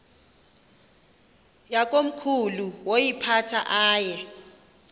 yakomkhulu woyiphatha aye